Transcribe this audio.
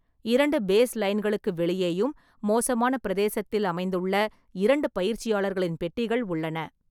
இரண்டு பேஸ்லைன்களுக்கு வெளியேயும் மோசமான பிரதேசத்தில் அமைந்துள்ள இரண்டு பயிற்சியாளர்களின் பெட்டிகள் உள்ளன.